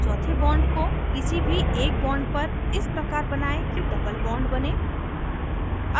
चौथे bond को किसी भी एक bond पर इस प्रकार बनायें कि double bond बने